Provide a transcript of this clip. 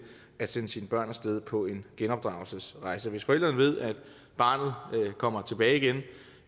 at sende sine børn af sted på en genopdragelsesrejse hvis forældrene ved at barnet kommer tilbage igen